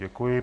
Děkuji.